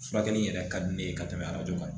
Furakɛli in yɛrɛ ka di ne ye ka tɛmɛ arajo kan